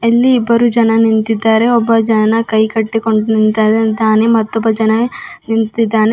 ಎಲ್ಲಿ ಇಬ್ಬರು ಜನ ನಿಂತಿದ್ದಾರೆ ಒಬ್ಬ ಜನ ಕೈ ಕಟ್ಟಿಕೊಂಡು ಜನ ನಿಂತಿದ್ದಾನೆ.